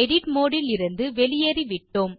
edit mode இலிருந்து வெளியேறிவிட்டோம்